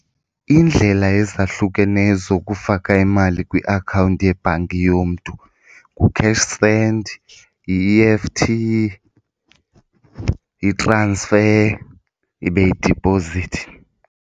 Iindlela ezahlukeneyo zokufaka imali kwiakhawunti yebhanki yomntu ngu-cash send, yi-E_F_T, i-transfer, ibe yidiphozithi.